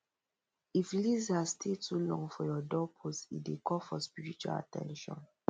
if lizard stay too long for ya doorpost e dey call for spiritual at ten tion